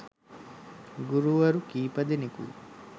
ගුරුවරු කීපදෙනකුයි.